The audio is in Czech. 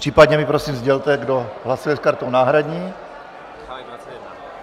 Případně mi prosím sdělte, kdo hlasuje s kartou náhradní.